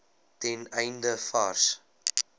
ten einde vars